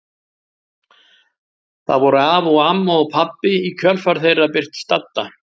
Það voru afi og amma og pabbi og í kjölfar þeirra birtist Dadda.